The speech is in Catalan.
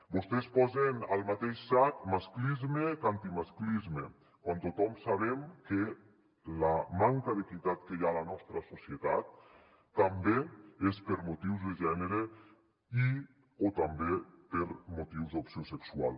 vostès posen al mateix sac masclisme que antimasclisme quan tothom sabem que la manca d’equitat que hi ha a la nostra societat també és per motius de gènere i o també per motius d’opció sexual